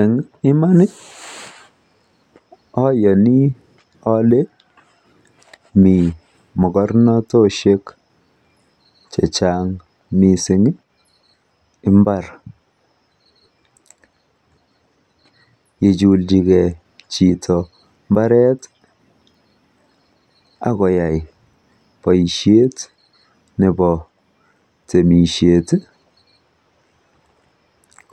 En Imani oyoni ole mi mokornotoshek chechang mising mbar ngichulchike chito mbareti akoyai boishet nebo temisheti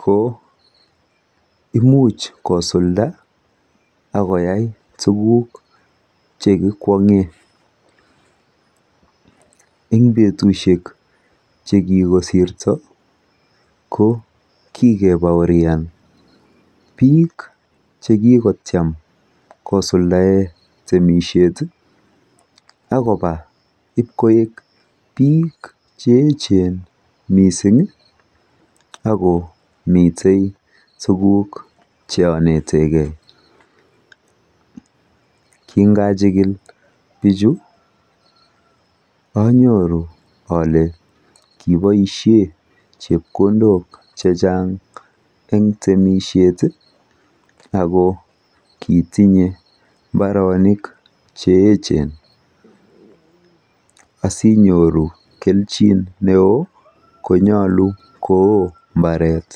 koimuch kosulda akoyai tuguk chekikwongen en betushek chekikosirto kokikepaorian biik chekikotiem kosuldaen temisheti akona ipkoek biik cheechen misingi Ako miten tuguk cheoneteken kinachikil bichu anyoru ole kiboishen chepkondok chechang eng temisheti Ako kitinye mbarenik cheechen asinyoru kelchin neoo konyolu koo mbaret